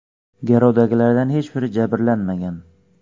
Garovdagilardan hech biri jabrlanmagan.